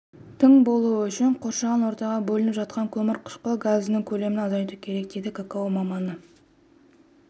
тың болуы үшін қоршаған ортаға бөлініп жатқан көмірқышқыл газының көлемін азайту керек дейді какао маманы